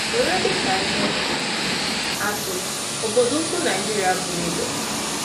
Were dị ka ihe atụ, obodo ukwu Naịjirịa bụ́ Lagos.